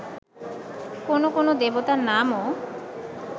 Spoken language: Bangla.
কোন কোন দেবতার নামও